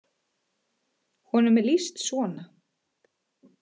Honum er lýst svona: